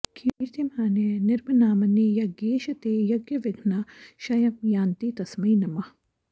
कीर्त्यमाने नृभिर्नाम्नि यज्ञेश ते यज्ञविघ्नाः क्षयं यान्ति तस्मै नमः